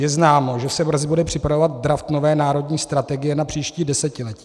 Je známo, že se brzy bude připravovat draft nové národní strategie na příští desetiletí.